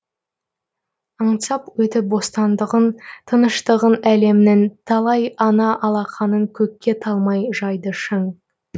аңсап өтіп бостандығын тыныштығын әлемнің талай ана алақанын көкке талмай жайды шын